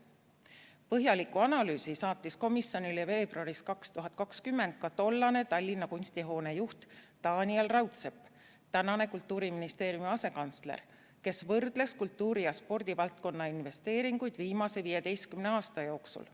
Põhjaliku analüüsi saatis komisjonile veebruaris 2020 ka tollane Tallinna kunstihoone juht Taaniel Raudsepp, tänane Kultuuriministeeriumi asekantsler, kes võrdles kultuuri‑ ja spordivaldkonna investeeringuid viimase 15 aasta jooksul.